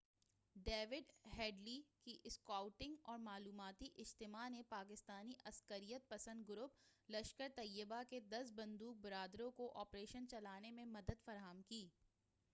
David Headley کی scouting اور معلوماتی اجتماع نے پاکستانی عسکریت پسند گروپ لشکر طیبہ کے 10 بندوق برداروں کو آپریشن چلانے میں مدد فراہم کی